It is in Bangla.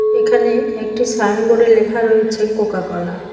এখানে একটি সাইনবোর্ড -এ লেখা রয়েছে কোকাকলা ।